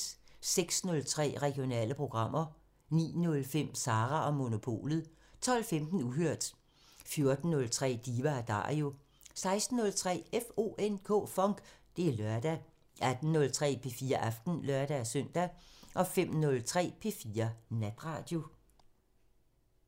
06:03: Regionale programmer 09:05: Sara & Monopolet 12:15: Uhørt 14:03: Diva & Dario 16:03: FONK! Det er lørdag 18:03: P4 Aften (lør-søn) 05:03: P4 Natradio